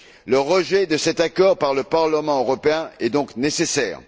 Le rejet de cet accord par le Parlement européen est donc nécessaire.